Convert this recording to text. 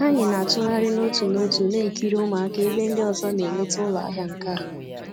Anyị na-atụgharị n'otu n'otu na-ekiri ụmụaka ebe ndị ọzọ na-eleta ụlọ ahịa nka